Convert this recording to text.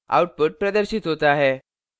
output प्रदर्शित होता है